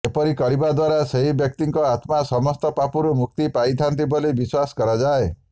ଏପରି କରିବା ଦ୍ବାରା ସେହି ବ୍ୟକ୍ତିଙ୍କ ଆତ୍ମା ସମସ୍ତ ପାପରୁ ମୁକ୍ତି ପାଇଥାଆନ୍ତି ବୋଲି ବିଶ୍ବାସ କରାଯାଏ